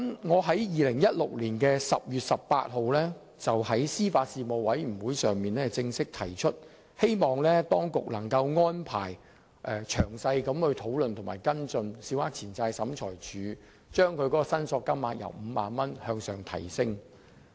我在2016年10月18日在司法及法律事務委員會會議上正式提出，希望當局能安排詳細討論及跟進，把審裁處的司法管轄權限由5萬元上調。